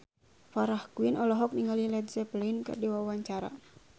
Farah Quinn olohok ningali Led Zeppelin keur diwawancara